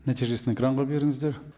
нәтижесін экранға беріңіздер